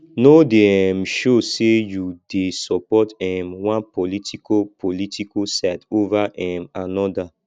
no dey um show sey you dey support um one political political side over um anoda